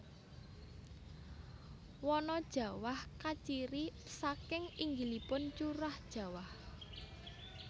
Wana Jawah kaciri saking inggilipun curah jawah